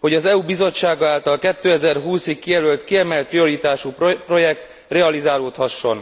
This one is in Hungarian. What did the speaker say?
hogy az EU Bizottsága által 2020 ig kijelölt kiemelt prioritású projekt realizálódhasson.